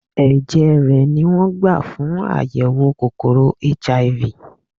Ẹ̀jẹ̀ rè ni wón gbà fún àyẹ̀wò kòkòrò HIV.